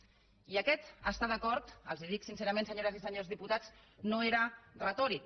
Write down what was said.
i aquest estar d’acord els ho dic sincerament senyores i senyors diputats no era retòric